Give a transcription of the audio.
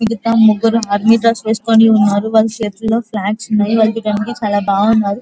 ఇక్కడ ముగ్గురు army dress వేసుకుని ఉన్నారు. వల్ల చేతులో ఫ్లాగ్స్ ఉన్నాయి. వాళ్ళు చుడానికి చాలా బాగున్నారు.